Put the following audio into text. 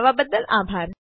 જોડવા બદલ આભાર